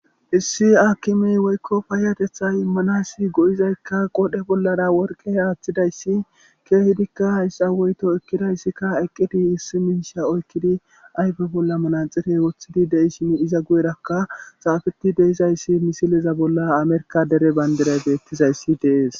issi aakimiy woykko paiyatetha immanayssi go7izaykka qodhe bollara worqe haaththidayssi keehidikka hayssa woyto ekkidayssikka eqqidi issi minsha oykkidi ayfe bolla manaxirey woththidi deishin iza gu7erakka xaafeti deizayssi misileza bolla amerka dere bayndiray beettizayssi dees